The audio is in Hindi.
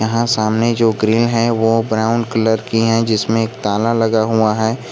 यहां सामने जो ग्रील है वह ब्राउन कलर की है जिसमे एक ताला लगा हुआ है।